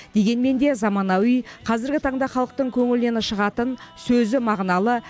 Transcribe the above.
дегенмен де заманауи қазіргі таңда халықтың көңілінен шығатын сөзі мағыналы